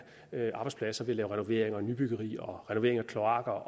arbejdspladser ved lave renovering og nybyggeri og renovering af kloakker